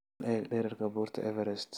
bal eeg dhererka buurta Everest